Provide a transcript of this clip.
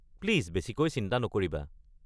Please বেছিকৈ চিন্তা নকৰিবা।